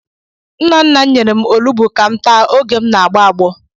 Nna nna m nyere m olugbu ka m taa oge m na-agbọ agbọ.